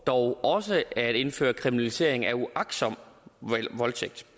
dog også at indføre kriminalisering af uagtsom voldtægt